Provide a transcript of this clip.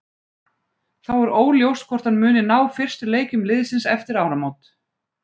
Þá er óljóst hvort hann muni ná fyrstu leikjum liðsins eftir áramót.